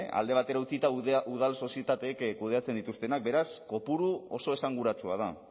alde batera utzita udal sozietateek kudeatzen dituztenak beraz kopuru oso esanguratsua da